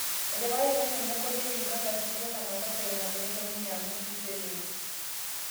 Etipikakitia ninye koti e Uganda Sitela mokosa ina peelo ninye amor Museveni